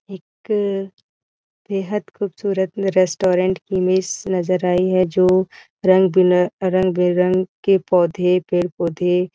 एक अ बेहद ख़ूबसूरत रेस्टोरेंट की इमेज नज़र आई है जो रंग बिनर रंग-बिरंग के पौधे पेड़ - पौधे --